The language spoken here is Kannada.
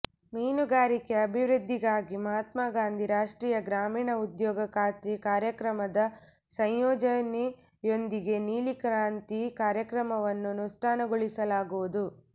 ಮೀನುಗಾರಿಕೆ ಅಭಿವೃದ್ಧಿಗಾಗಿ ಮಹತ್ಮಾಗಾಂಧಿ ರಾಷ್ಟ್ರೀಯ ಗ್ರಾಮೀಣ ಉದ್ಯೋಗ ಖಾತ್ರಿ ಕಾರ್ಯಕ್ರಮದ ಸಂಯೋಜನೆಯೊಂದಿಗೆ ನೀಲಿ ಕ್ರಾಂತಿ ಕಾರ್ಯಕ್ರಮವನ್ನು ನುಷ್ಠಾನಗೊಳಿಸಲಾಗುವುದು